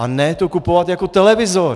A ne to kupovat jako televizor!